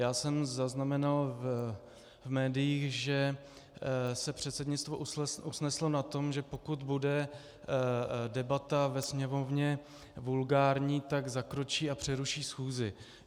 Já jsem zaznamenal v médiích, že se předsednictvo usneslo na tom, že pokud bude debata ve Sněmovně vulgární, tak zakročí a přeruší schůzí.